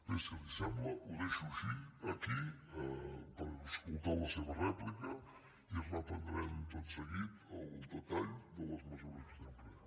bé si li sembla ho deixo així aquí per escoltar la seva rèplica i reprendrem tot seguit el detall de les mesures que estem prenent